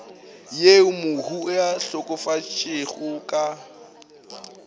yeo mohu a hlokafetšego ka